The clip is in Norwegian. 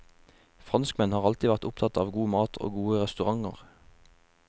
Franskmenn har alltid vært opptatt av god mat og gode restauranter.